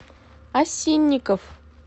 осинников